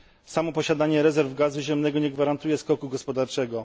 Samo posiadanie rezerw gazu ziemnego nie gwarantuje skoku gospodarczego.